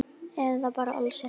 Eða bara alls ekki.